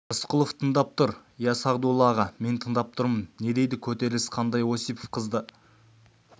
рысқұлов тыңдап тұр иә сағдулла аға мен тыңдап тұрмын не дейді көтеріліс қандай осипов қызды